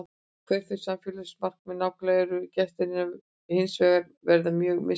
Hver þau samfélagslegu markmið nákvæmlega eru getur hins vegar verið mjög mismunandi.